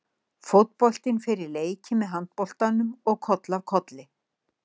Fótboltinn fer á leiki með handboltanum og koll af kolli.